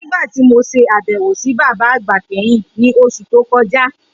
Nigbati mo ṣabẹwo si baba agba kẹhin, ni oṣu to kọja.